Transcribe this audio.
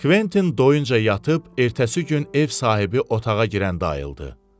Kventin doyunca yatıb ertəsi gün ev sahibi otağa girəndə ayıldı.